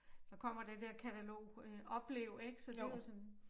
Der kommer det der katalog øh Oplev ik så det jo sådan